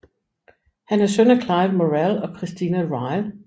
Han er søn af Clive Morrell og Christina Ryle